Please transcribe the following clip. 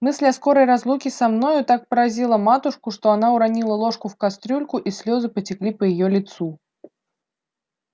мысль о скорой разлуке со мною так поразила матушку что она уронила ложку в кастрюльку и слёзы потекли по её лицу